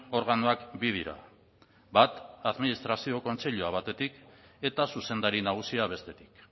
organoak bi dira bat administrazio kontseilua batetik eta zuzendari nagusia bestetik